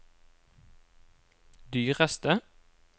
dyreste